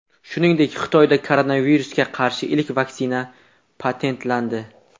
Shuningdek, Xitoyda koronavirusga qarshi ilk vaksina patentlandi.